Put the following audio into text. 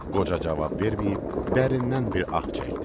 Qoca cavab verməyib, dərindən bir ah çəkdi.